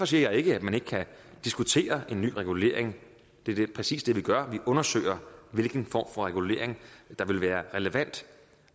siger ikke at man ikke kan diskutere en ny regulering det er præcis det vi gør vi undersøger hvilken form for regulering der vil være relevant